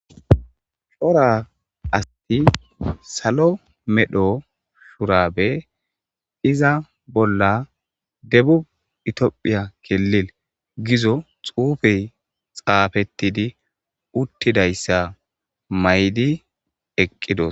shora asti salo medho shurabe iza bolla debu itophiya kelil gizo xuufey xaafettidi uttidayssa maydi eqqidos.